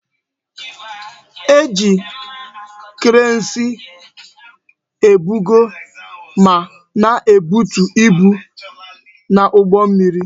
E ji kreensi ebugo ma na ebutu ibu n'ụgbọ mmiri